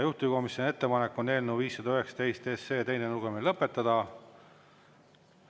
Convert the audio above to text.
Juhtivkomisjoni ettepanek on eelnõu 519 teine lugemine lõpetada.